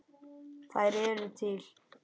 Þær eru til.